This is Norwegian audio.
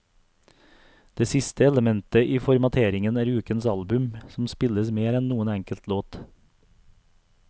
Det siste elementet i formateringen er ukens album, som spilles mer enn noen enkelt låt.